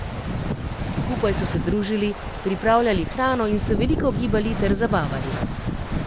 Skupaj so se družili, pripravljali hrano in se veliko gibali ter zabavali.